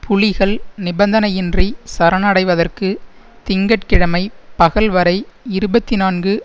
புலிகள் நிபந்தனையின்றி சரணடைவதற்கு திங்க கிழமை பகல்வரை இருபத்தி நான்கு